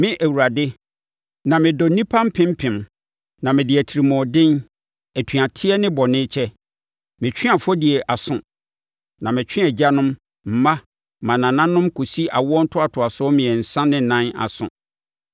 me Awurade, me dɔ nnipa mpempem na mede atirimuɔden, atuateɛ ne bɔne kyɛ. Metwe afɔdie aso na metwe Agyanom, mma ne mmanananom kɔsi awoɔ ntoatoasoɔ mmiɛnsa ne ɛnan aso.”